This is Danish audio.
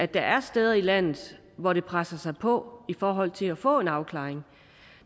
der er steder i landet hvor det presser sig på i forhold til at få en afklaring